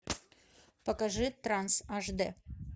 покажи транс аш дэ